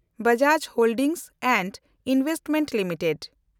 Bajaj holdings and investment limited